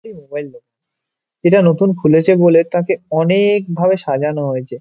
এইটা নতুন খুলেছে বলে তাকে অনে-এক ভাবে সাজানো হয়েছে ।